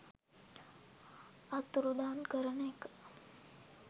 අතුරුදන් කරන එක